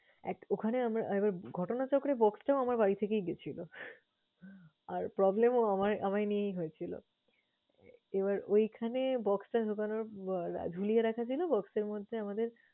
এক ওখানে আমরা একবার ঘটনাচক্রে box টাও আমার বাড়ি থেকেই গেছিলো। আর problem ও আমায় আমায় নিয়েই হয়েছিল। এবার ঐখানে box অটার ব্যাপারে ঝুলিয়ে রাখা যায়না box মধ্যে আমাদের